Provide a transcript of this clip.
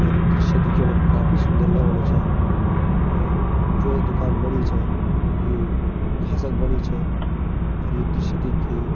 और ये दृश्य दिखेणम काफी सुन्दर लगणु च और जो ये दुकान बणी च यू घासक बणी च और ये दृश्य देख के --